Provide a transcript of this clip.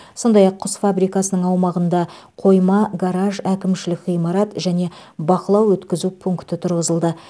сондай ақ құс фабрикасының аумағында қойма гараж әкімшілік ғимарат және бақылау өткізу пункті тұрғызылды